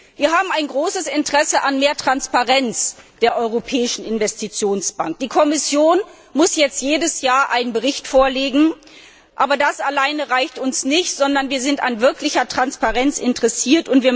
Wir haben ein großes Interesse an mehr Transparenz der Europäischen Investitionsbank. Die Kommission muss jetzt jedes Jahr einen Bericht vorlegen. Aber das alleine reicht uns nicht, sondern wir sind an wirklicher Transparenz interessiert.